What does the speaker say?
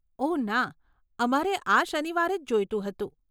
ઓહ ના, અમારે આ શનિવારે જ જોઈતું હતું.